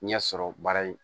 Ɲɛ sɔrɔ baara in